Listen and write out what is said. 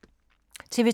TV 2